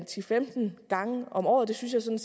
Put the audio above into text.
til femten gange om året det synes jeg